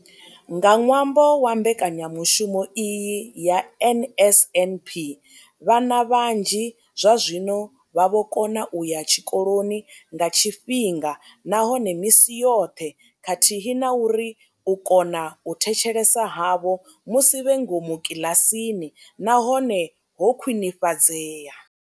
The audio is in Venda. Nga ṅwambo wa mbekanyamushumo iyi ya NSNP, vhana vhanzhi zwazwino vha vho kona u ya tshikoloni nga tshifhinga nahone misi yoṱhe khathihi na uri u kona u thetshelesa havho musi vhe ngomu kiḽasini na hone ho khwinifhadzea.